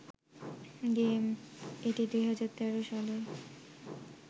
game, এটি ২০১৩ সালে